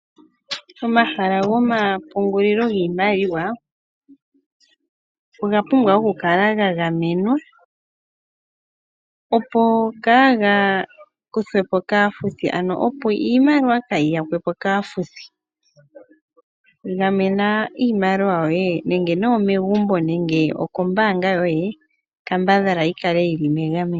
Omahala gomapungulilo giimaliwa oga pumbwa oku kala gagamenwa, opo iimaliwa ka yiyakwepo kaafuthi. Gamen iimaliwa yoye kutya omègumbo nenge kombaanga yoye.